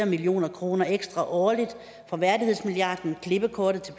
million kroner ekstra årligt fra værdighedsmilliarden klippekortet til